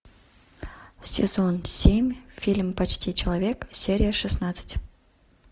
сезон семь фильм почти человек серия шестнадцать